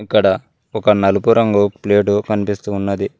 ఇక్కడ ఒక నలుపు రంగు ప్లేటు కనిపిస్తూ ఉన్నది.